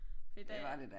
Fordi da